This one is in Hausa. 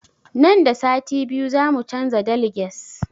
Nan da sati biyu za mu canza deliges